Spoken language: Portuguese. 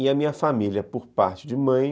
E a minha família, por parte de mãe...